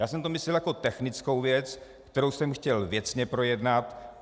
Já jsem to myslel jako technickou věc, kterou jsem chtěl věcně projednat.